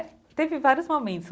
É, teve vários momentos.